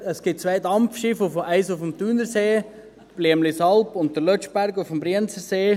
Es gibt zwei Dampfschiffe, eines auf dem Thunersee – die «Blüemlisalp» –, und den «Lötschberg» auf dem Brienzersee.